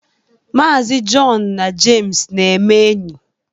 Maazi Jọn na Jems na-eme enyi.